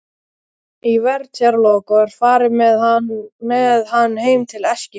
Í vertíðarlok var farið með hann heim til Eskifjarðar.